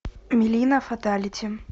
милина фаталити